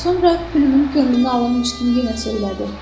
Sonra Pülümün könlünü alırmış kimi yenə söylədi.